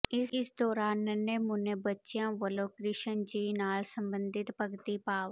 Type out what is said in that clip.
ਇਸ ਦੌਰਾਨ ਨੰਨ੍ਹੇ ਮੁੰਨੇ੍ਹ ਬੱਚਿਆਂ ਵੱਲੋਂ ਕਿ੍ਸ਼ਨ ਜੀ ਨਾਲ ਸਬੰਧਿਤ ਭਗਤੀ ਭਾਵ